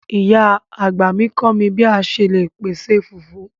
Ìyá àgbà mi kọ mi bi a ṣe le pese fufu